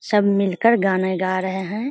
सब मिलकर गाना गा रहे हैं।